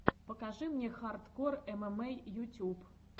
покажи мне хардкор эмэмэй ютюб